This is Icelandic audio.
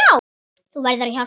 Þú verður að hjálpa mér.